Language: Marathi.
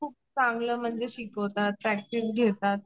खूप चांगलं म्हणजे शिकवतात प्रॅक्टिस घेतात.